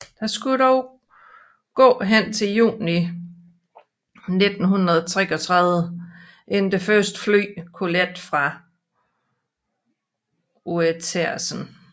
Der skulle dog gå hen til juni 1933 inden det første fly kunne lette fra Uetersen